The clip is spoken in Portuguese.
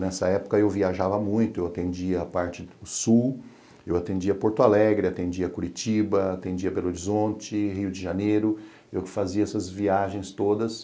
Nessa época eu viajava muito, eu atendia a parte do sul, eu atendia Porto Alegre, atendia Curitiba, atendia Belo Horizonte, Rio de Janeiro, eu fazia essas viagens todas.